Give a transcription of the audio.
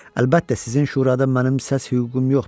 Əlbəttə, sizin şurada mənim səs hüququm yoxdur.